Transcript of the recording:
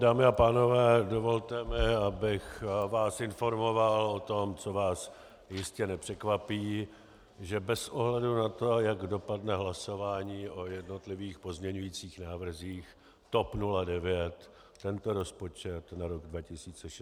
Dámy a pánové, dovolte mi, abych vás informoval o tom, co vás jistě nepřekvapí, že bez ohledu na to, jak dopadne hlasování o jednotlivých pozměňujících návrzích, TOP 09 tento rozpočet na rok 2016 podpořit nemůže.